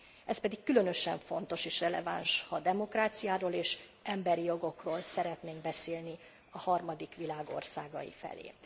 Ez pedig különösen fontos és releváns, ha demokráciáról és emberi jogokról szeretnénk beszélni a harmadik világ országai felé.